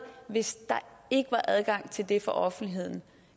hvis der ikke var adgang til det for offentligheden